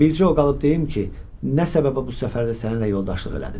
Bircə o qalıb deyim ki, nə səbəbə bu səfərdə səninlə yoldaşlıq elədim.